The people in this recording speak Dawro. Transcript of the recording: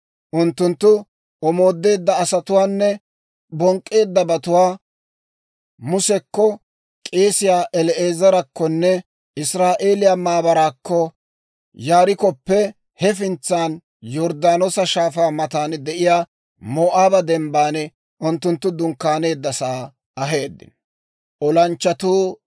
Unttunttu omoodeedda asatuwaanne bonk'k'eeddabatuwaa Musekko, k'eesiyaa El"aazarakkonne Israa'eeliyaa maabaraakko, Yarikkoppe hefintsan, Yorddaanoosa Shaafaa matan de'iyaa Moo'aaba Dembban unttunttu dunkkaaneeddasaa aheeddino.